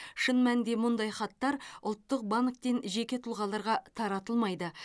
шын мәнінде мұндай хаттар ұлттық банктен жеке тұлғаларға таратылмайды